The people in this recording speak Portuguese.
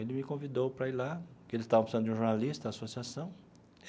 Ele me convidou para ir lá, porque ele estava precisando de um jornalista na associação.